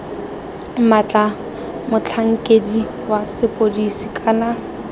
maatla motlhankedi wa sepodisi kana